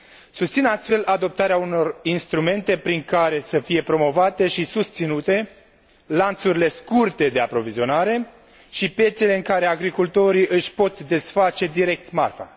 Susțin astfel adoptarea unor instrumente prin care să fie promovate și susținute lanțurile scurte de aprovizionare și piețele în care agricultorii își pot desface direct marfa.